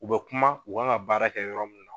U bɛ kuma u kan ka baara kɛ yɔrɔ mun na